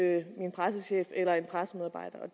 ikke min pressechef eller en pressemedarbejder